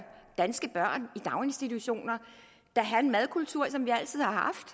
danske børn i daginstitutioner da have en madkultur som vi altid har haft